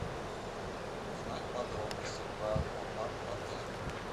узнать подробности про аквапарк в отеле